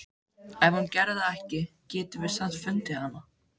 Ef hún gerði það ekki getum við samt fundið hana.